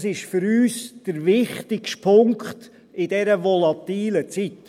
Das ist für uns der wichtigste Punkt in dieser volatilen Zeit.